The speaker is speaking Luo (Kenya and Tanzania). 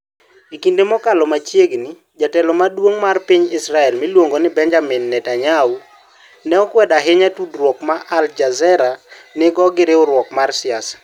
E kinde mokalo machiegni, jatelo maduong ' mar piny Israel miluongo ni Benjamin Netanyahu, ne okwedo ahinya tudruok ma Al Jazeera nigo gi riwruok mar siasa.